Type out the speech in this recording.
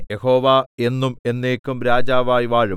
യഹോവ എന്നും എന്നേക്കും രാജാവായി വാഴും